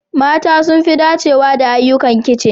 Mata sun fi dacewa da ayyukan kicin.